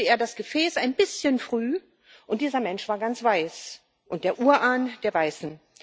Dann öffnete er das Gefäß ein bisschen früh und dieser Mensch war ganz weiß und der Urahn der Weißen.